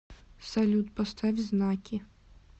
салют поставь знаки